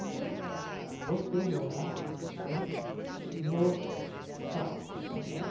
Então, por que morar né? No caos que é São Paulo?